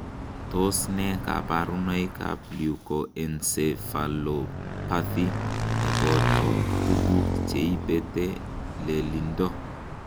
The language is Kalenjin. Tos nee koborunoikab Leukoencephalopathy neboto tukuk cheibete lelindo?